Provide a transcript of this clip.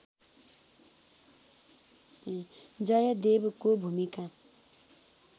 जयदेवको भूमिका